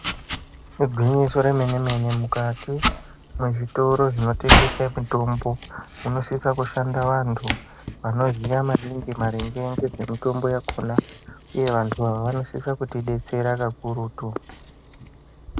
Igwinyiso remene-mene, mukati mezvitoro zvinotengese mitombo munosise kushanda vantu vanoziya maningi maringe nezvemitombo yakhona uye vantu ava vanosise kutidetsera kakurutu.